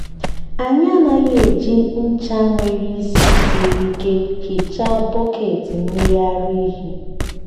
anyị anaghị eji ncha nwere ísì siri ike hichaa bọket mmiri ara ehi.